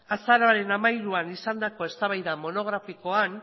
azaroaren hamairuan izandako eztabaida monografikoan